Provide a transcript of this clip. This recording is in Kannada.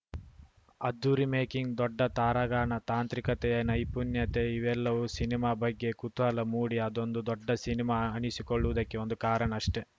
ಅದ್ದೂರಿ ಮೇಕಿಂಗ್‌ ದೊಡ್ಡ ತಾರಾಗಣ ತಾಂತ್ರಿಕತೆಯ ನೈಪುಣ್ಯತೆ ಇವೆಲ್ಲವೂ ಸಿನಿಮಾ ಬಗ್ಗೆ ಕುತೂಹಲ ಮೂಡಿ ಅದೊಂದು ದೊಡ್ಡ ಸಿನಿಮಾ ಅನಿಸಿಕೊಳ್ಳುವುದಕ್ಕೆ ಒಂದು ಕಾರಣ ಅಷ್ಟೆ